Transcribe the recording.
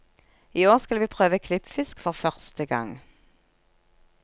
I år skal vi prøve klippfisk for første gang.